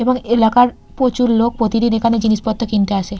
এবং এলাকার প্রচুর লোক প্রতিদিন এখানে জিনিসপত্র কিনতে আসে।